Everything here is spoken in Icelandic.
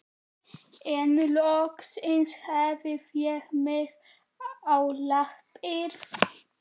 En loksins hafði ég mig á lappir.